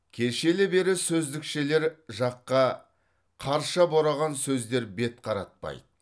кешелі бері сөздікшілер жаққа қарша бораған сөздер бет қаратпайды